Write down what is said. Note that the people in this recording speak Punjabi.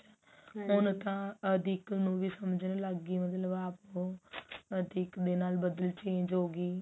ਹੁਣ ਤਾਂ ਅਧਿੱਕ ਨੂੰ ਵੀ ਸਮਝਣ ਲੱਗ ਗਈ ਮਤਲਬ ਆਪ ਉਹ ਅਧਿੱਕ ਦੇ ਨਾਲ ਬਦਲ change ਹੋਗੀ